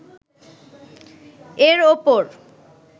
এর উপর